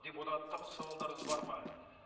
депутаттық сауалдарыңыз бар ма